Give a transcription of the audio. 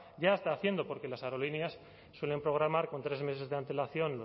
ya está haciendo porque las aerolíneas suelen programar con tres meses de antelación